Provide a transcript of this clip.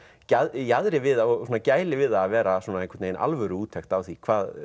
jaðri við það og gæli við það að vera einhver alvöru úttekt á því